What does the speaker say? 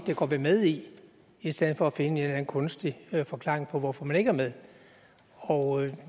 det går vi med i i stedet for at finde en eller anden kunstig forklaring på hvorfor man ikke er med